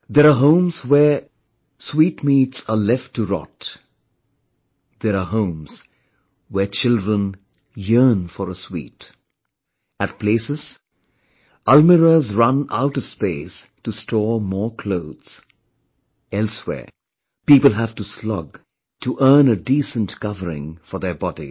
There are homes where sweetmeats are left to rot; there are homes where children yearn for a sweet; at places almirahs run out of space to store more clothes; elsewhere, people have to slog to earn a decent covering for their bodies